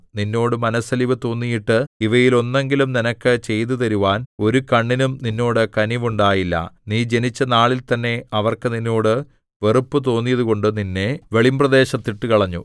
നിന്നോട് മനസ്സലിവു തോന്നിയിട്ട് ഇവയിൽ ഒന്നെങ്കിലും നിനക്ക് ചെയ്തുതരുവാൻ ഒരു കണ്ണിനും നിന്നോട് കനിവുണ്ടായില്ല നീ ജനിച്ചനാളിൽ തന്നെ അവർക്ക് നിന്നോട് വെറുപ്പുതോന്നിയതുകൊണ്ട് നിന്നെ വെളിമ്പ്രദേശത്ത് ഇട്ടുകളഞ്ഞു